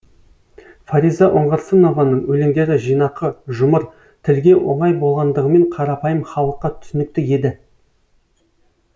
фариза оңғарсынованың өлеңдері жинақы жұмыр тілге оңай болғандығымен қарапайым халыққа түсінікті еді